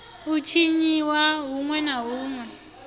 a tshiniwa huṋwe na huṋwe